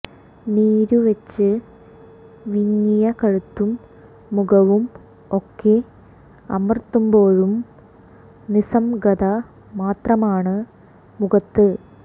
നീരുവെച്ച് വിങ്ങിയ കഴുത്തും മുഖവും ഒക്കെ അമര്ത്തുമ്പോഴും നിസ്സംഗത മാത്രമാണ് മുഖത്ത്